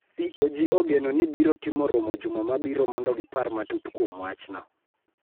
CoG ogeno ni biro timo romo juma mabiro mondo gipar matut kuom wachno.